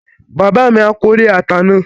Bàbá mi á kórè ata náà